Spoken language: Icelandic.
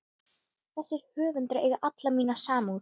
Þessir höfundar eiga alla mína samúð.